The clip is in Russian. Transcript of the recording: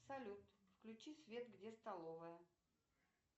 салют включи свет где столовая